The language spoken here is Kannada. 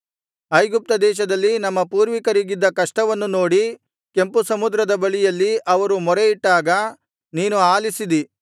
ಐಗುಪ್ತ ದೇಶದಲ್ಲಿ ನಮ್ಮ ಪೂರ್ವಿಕರಿಗಿದ್ದ ಕಷ್ಟವನ್ನು ನೋಡಿ ಕೆಂಪುಸಮುದ್ರದ ಬಳಿಯಲ್ಲಿ ಅವರು ಮೊರೆಯಿಟ್ಟಾಗ ನೀನು ಆಲಿಸಿದಿ